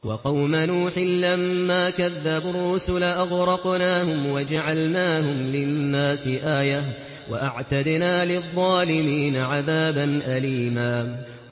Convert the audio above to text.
وَقَوْمَ نُوحٍ لَّمَّا كَذَّبُوا الرُّسُلَ أَغْرَقْنَاهُمْ وَجَعَلْنَاهُمْ لِلنَّاسِ آيَةً ۖ وَأَعْتَدْنَا لِلظَّالِمِينَ عَذَابًا أَلِيمًا